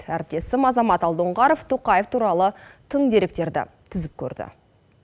әріптесім азамат алдоңғаров тоқаев туралы тың деректерді тізіп көрді